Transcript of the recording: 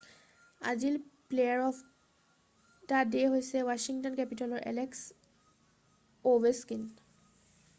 আজিৰ player of the day হৈছে Washington কেপিটেলৰ এলেক্স অ'ভেছকিন৷